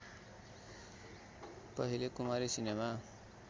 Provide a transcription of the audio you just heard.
पहिले कुमारी सिनेमा